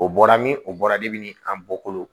O bɔra min o bɔra debini an bɔkolo